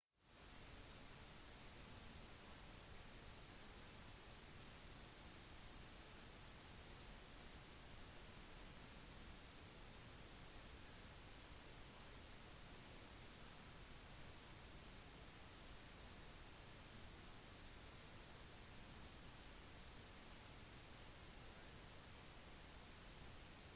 et landsomfattende veinettverk er derimot ikke økonomisk levedyktig dersom det kun brukes av en håndfull biler så nye metoder for produksjon er utviklet for å forminske kostnader ved bileierforhold